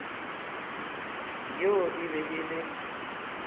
yo e be e le